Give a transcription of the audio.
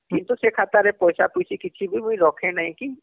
କିନ୍ତୁ ସେ ଖାତା ରେ ପଇସା ପୁଇଁଷି କିଛି ବି ମୁଇଁ ରଖେ ନାଇଁ କି